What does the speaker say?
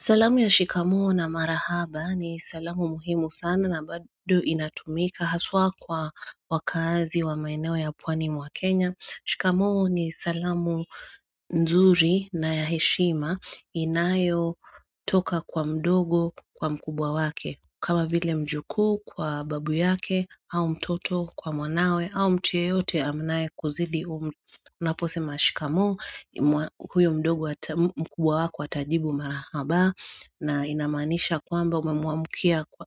Salamu ya shikamoo na marahaba ni salamu muhimu sana na bado inatumika haswa kwa wakaazi wa maeneo ya pwani mwa kenya. Shikamoo ni salamu nzuri na ya heshima inayotoka kwa mdogo kwa mkubwa wake. Kama vile mjukuu kwa babu yake au mtoto kwa mwanawe au mtu yeyote anae kuzidi umri. Unaposema shikamoo huyo mdogo mkubwa wake atajibu marahaba. Na inamanisha kwamba